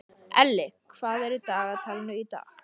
Elli, hvað er í dagatalinu í dag?